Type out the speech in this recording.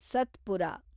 Satpura